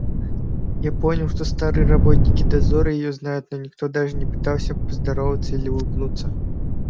я понял что старые работники дозора её знают но никто даже не пытался поздороваться или улыбнуться